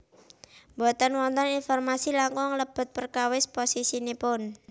Boten wonten informasi langkung lebet perkawis posisinipun